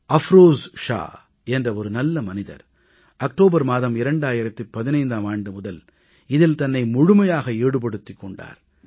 அஃப்ரோஸ் ஷா என்ற ஒரு நல்ல மனிதர் அக்டோபர் மாதம் 2015ஆம் ஆண்டு முதல் இதில் தன்னை முழுமையாக ஈடுபடுத்திக் கொண்டார்